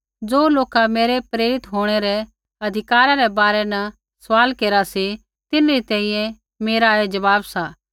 ज़ो लोका मेरै प्रेरित होंणै रै अधिकारा रै बारै न सवाल केरा सी तिन्हरी तैंईंयैं मेरा ऐ ज़वाब सा